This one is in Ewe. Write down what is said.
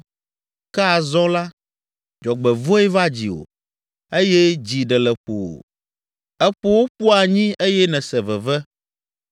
Ke azɔ la, dzɔgbevɔ̃e va dziwò, eye dzi ɖe le ƒo wò; eƒo wò ƒu anyi eye nèse veve.